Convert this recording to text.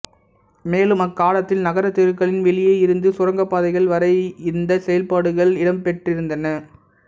மேலும் அக்காலத்தில் நகரத்தெருக்களின் வெளியே இருந்து சுரங்கப்பாதைகள் வரை இந்த செயல்பாடுகள் இடம்பெற்றிருந்தன